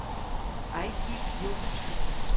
Eigil Jochumsen